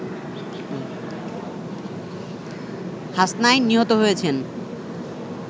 হাসনাইন নিহত হয়েছেন